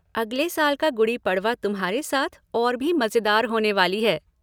अगले साल का गुड़ी पड़वा तुम्हारे साथ और भी मजेदार होने वाली है!